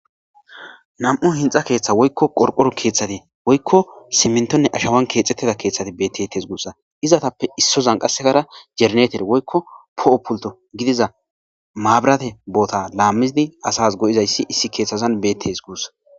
Nam'u hinxxa keththatti woykko qorqoro keththatti woykko siminttonne aashshawan kexetida keththatti bettetes guussa izetappe issozan qasezara jeneretere woykko po'o pulto gidiza mabiratte bootta laamidi asas go'oizay issi kethtthazan asas bettees guussa